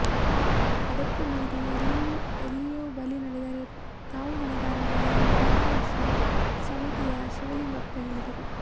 ಅದಕ್ಕೂ ಮೀರಿ ಎಲ್ಲಿಯೋ ಬಲಿ ನಡೆದರೆ ತಾವು ಹೊಣೆಗಾರರಲ್ಲ ಎಂದು ಧರ್ಮದರ್ಶಿ ಸಮಿತಿಯ ಶಿವಲಿಂಗಪ್ಪ ಹೇಳಿದರು